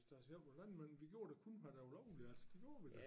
Da selv på landmøllen vi gjorde da kun hvad der var lovligt det gjorde vi da